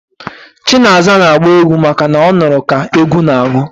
Chinaza n'agba egwu maka na ọ nụrụ ka egwu n'agụ